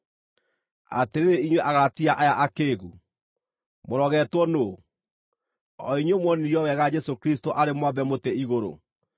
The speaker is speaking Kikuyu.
Atĩrĩrĩ inyuĩ Agalatia aya akĩĩgu! Mũrogetwo nũũ? O inyuĩ muonirio wega Jesũ Kristũ arĩ mwambe mũtĩ igũrũ.